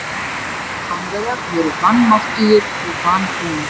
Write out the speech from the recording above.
Spánverjar voru vanmáttugir og vanbúnir.